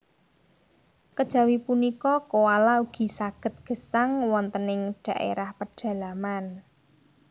Kejawi punika koala ugi saged gesang wonten ing dhaérah pedalaman